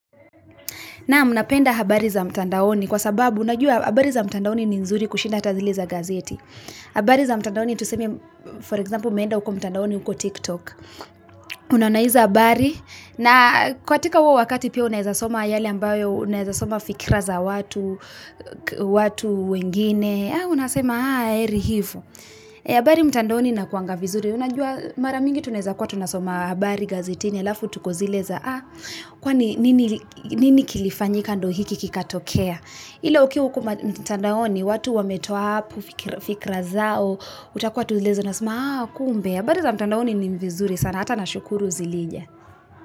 Naam napenda habari za mtandaoni, kwa sababu najua habari za mtandaoni ni nzuri kushinda ata zile za gazeti habari za mtandaoni tuseme, for example umeenda uko mtandaoni uko Tik Tok Unaona izo habari, na katika huo wakati pia unaeza soma yale ambayo, unaeza soma fikra za watu wengine, unasema, heri hifo habari mtandaoni inakuwanga vizuri, unajua mara mingi tunaeza kuwa tunasoma habari gazetini Kwani, nini kilifanyika ndio hiki kikatokea Ila ukiwa uko mtandaoni, watu wametoa hapo, fikra zao, utakuwa tu zile za unasema, ah kumbe. Habari za mtandaoni ni vizuri sana, hata na shukuru zilija.